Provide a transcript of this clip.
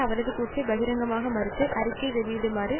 அவரது கூற்றை பகிரங்கமாக மறுத்து அறிக்கை வெளியிடுமாறு